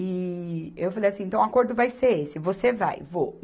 E eu falei assim, então o acordo vai ser esse, você vai, vou.